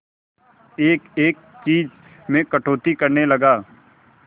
एक एक चीज में कटौती करने लगा